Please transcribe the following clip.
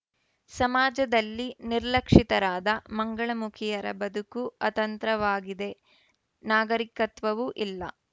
ಸಮಾಜದಲ್ಲಿ ನಿರ್ಲಕ್ಷಿತರಾದ ಮಂಗಳಮುಖಿಯರ ಬದುಕು ಅತಂತ್ರವಾಗಿದೆ ನಾಗರಿಕತ್ವವೂ ಇಲ್ಲ